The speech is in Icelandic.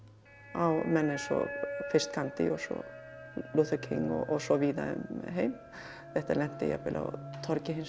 á menn eins og fyrst Gandhi og svo Luther King og svo víða um heim þetta lenti jafnvel á torgi hins